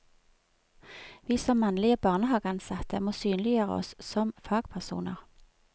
Vi som mannlige barnehageansatte må synliggjøre oss som fagpersoner.